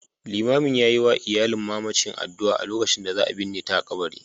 Liman ya yi wa iyalin mamacin addu'a a lokacin da za a binne ta a kabari